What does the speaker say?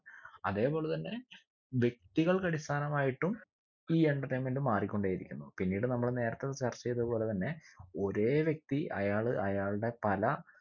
അതെ പോലെ തന്നെ വ്യക്തികൾക്കടിസ്ഥാനമായിട്ടും ഈ entertainment മാറിക്കൊണ്ടേ ഇരിക്കുന്നു പിന്നീട് നമ്മള് നേരത്തെ ചർച്ച ചെയ്ത പോലെ തന്നെ ഒരേ വ്യക്തി അയാള് അയാളുടെ പല